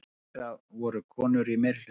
Meðal þeirra voru konur í meirihluta.